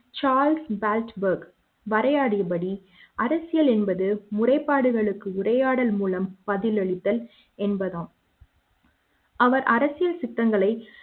Charles பல்ஜ் பெர்க் வரையாடியபடி அரசியல் என்பது முறைப்பாடுகளுக்கு உரையாடல் மூலம் பதிலளித்தல் என்பதாகும் அவர் அரசியல் சித்தங்களை